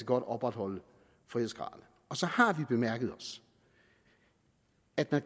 godt opretholde frihedsgraden så har vi bemærket at der